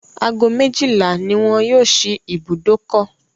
Ago méjìlá ni wọn yóò ṣí ibùdókọ̀.